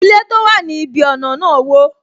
Ilé tó wà ní ibi ọna náà wo